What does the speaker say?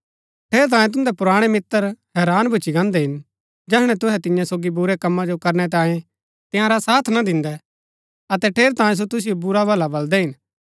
ठेरैतांये तुन्दै पुराणै मित्र हैरान भूच्ची गान्दै हिन जैहणै तुहै तिन्या सोगी बुरै कमा जो करनै तांये तंयारा साथ ना दिन्दै अतै ठेरैतांये सो तुसिओ बुरा भला बलदै हिन